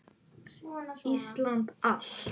Íslandi allt!